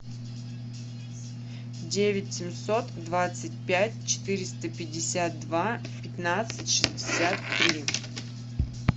девять семьсот двадцать пять четыреста пятьдесят два пятнадцать шестьдесят три